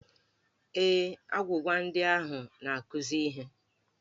Ee, agwụgwa ndị ahụ na-akụzi ihe.